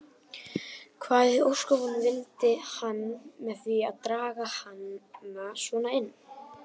Hvað í ósköpunum vildi hann með því að draga hana svona inn.